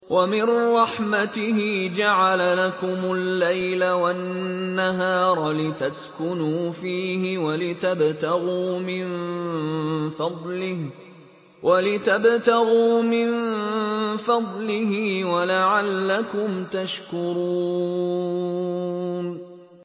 وَمِن رَّحْمَتِهِ جَعَلَ لَكُمُ اللَّيْلَ وَالنَّهَارَ لِتَسْكُنُوا فِيهِ وَلِتَبْتَغُوا مِن فَضْلِهِ وَلَعَلَّكُمْ تَشْكُرُونَ